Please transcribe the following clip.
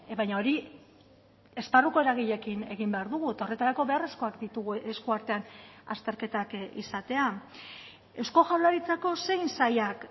baina hori esparruko eragileekin egin behar dugu eta horretarako beharrezkoak ditugu esku artean azterketak izatea eusko jaurlaritzako zein sailak